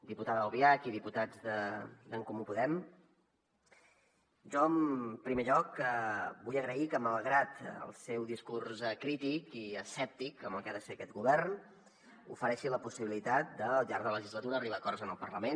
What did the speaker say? diputada albiach i diputats d’en comú podem jo en primer lloc vull agrair que malgrat el seu discurs crític i escèptic amb el que ha de ser aquest govern ofereixi la possibilitat al llarg de la legislatura arribar a acords en el parlament